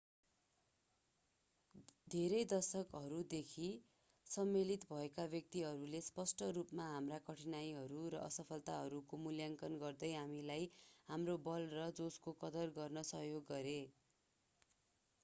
धेरै दशकहरूदेखि सम्मिलित भएका व्यक्तिहरूले स्पष्ट रूपमा हाम्रा कठिनाइहरू र असफलताहरूको मूल्याङ्कन गर्दै हामीलाई हाम्रो बल र जोशको कदर गर्न सहयोग गरे